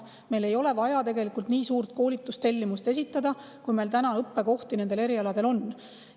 Meil ei ole vaja tegelikult esitada nii suurt koolitustellimust, kui täna nendel erialadel õppekohti on.